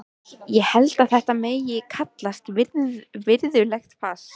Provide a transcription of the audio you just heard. Ég held að þetta megi kallast virðulegt fas.